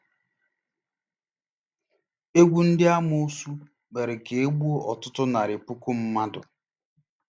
Égwù ndị amoosu mere ka e gbuo ọtụtụ narị puku mmadụ.